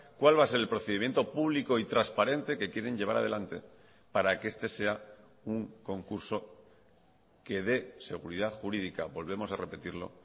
cuál va a ser el procedimiento público y transparente que quieren llevar adelante para que este sea un concurso que dé seguridad jurídica volvemos a repetirlo